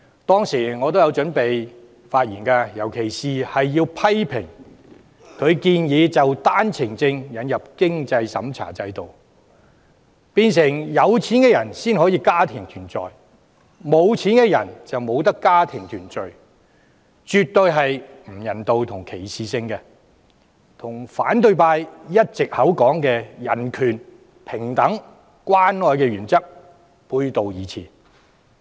當時我也有準備發言，尤其是要批評他建議就單程證引入經濟審查制度，變成有錢的人才可以家庭團聚，缺錢的人則不可，做法絕不人道及具歧視性，與反對派一直聲稱的人權、平等及關愛原則背道而馳。